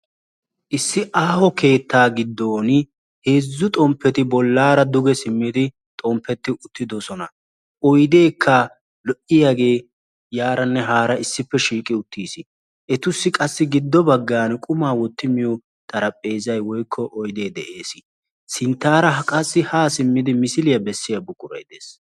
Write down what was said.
Issi aaho keetta giddon heezzu xomppetti bollara duge simmidi xomppetti uttidoosona. Oyddekka lo"iyaage yaaranne haara issippe shiiqi uttiis. Etussi qassi giddo baggaan quma wotti miyo xarapheezay woykko oydde de'ees. Sinttara ha simmidi misiliya bessiya buquray de'ees.